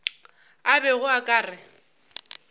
a bego a ka re